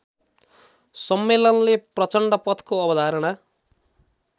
सम्मेलनले प्रचण्डपथको अवधारणा